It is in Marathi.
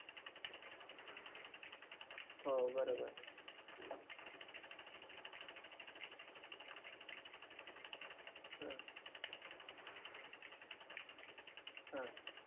तुम्ही app वरून केला असल्यावर तर आमचे delivery boyamazon delivery boy हे तिकडे जातात कंपनी मध्ये तो fridge delivery घ्यायला त्या fridge ची पण जेव्हा